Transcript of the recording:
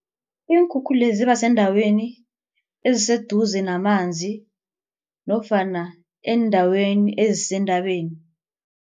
Iinkhukhula ziba seendaweni eziseduze namanzi nofana eendaweni ezisentabeni.